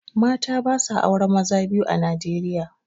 Mata basa auren maza biyu a Nijeriya